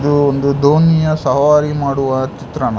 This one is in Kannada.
ಒಂದು ದೋಣಿಯ ಸವಾರಿ ಮಾಡುವ ಚಿತ್ರಣ.